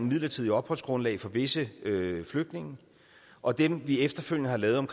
midlertidigt opholdsgrundlag for visse flygtninge og dem vi efterfølgende har lavet om